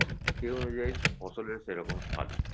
সেই অনুযায়ী ফসলের সেরকম সাদ